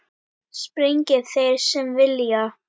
Sprengi þeir sem vilja.